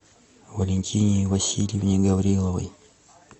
валентине васильевне гавриловой